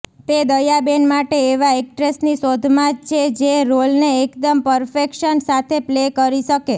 તે દયાબેન માટે એવા એક્ટ્રેસની શોધમાં છે જે રોલને એકદમ પરફેક્શન સાથે પ્લે કરી શકે